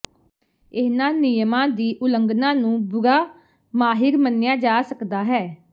ਇਹਨਾਂ ਨਿਯਮਾਂ ਦੀ ਉਲੰਘਣਾ ਨੂੰ ਬੁਰਾ ਮਾਹਿਰ ਮੰਨਿਆ ਜਾ ਸਕਦਾ ਹੈ